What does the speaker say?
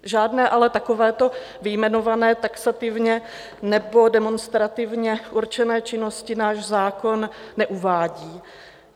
Žádné ale takovéto vyjmenované taxativně nebo demonstrativně určené činnosti náš zákon neuvádí.